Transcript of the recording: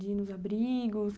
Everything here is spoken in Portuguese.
De ir nos abrigos?